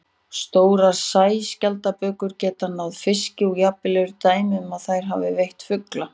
Stórar sæskjaldbökur geta náð fiski og jafnvel eru dæmi um að þær hafi veitt fugla.